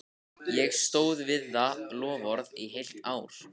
Ég stóð við það loforð í heilt ár.